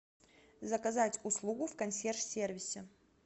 заказать услугу в консьерж сервисе